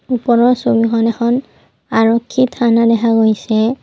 ওপৰৰ ছবিখনত এখন আৰক্ষী থানা দেখা গৈছে।